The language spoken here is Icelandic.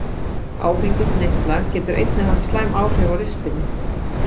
Áfengisneysla getur einnig haft slæmt áhrif á ristilinn.